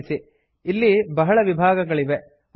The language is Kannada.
ಗಮನಿಸಿ ಇಲ್ಲಿ ಬಹಳ ವಿಭಾಗಗಳಿವೆ